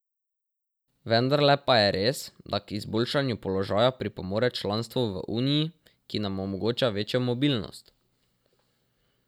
Vendarle pa je res, da k izboljšanju položaja pripomore članstvo v uniji, ki nam omogoča večjo mobilnost.